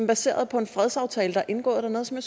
baseret på en fredsaftale der er indgået dernede som